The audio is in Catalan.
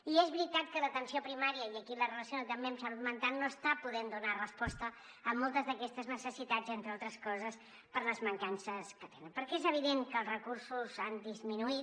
i és veritat que l’atenció primària i aquí la relaciono també amb salut mental no està podent donar resposta a moltes d’aquestes necessitats entre altres coses per les mancances que tenen perquè és evident que els recursos han disminuït